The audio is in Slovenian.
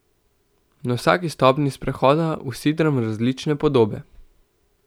Na vsaki stopnji sprehoda usidram različne podobe.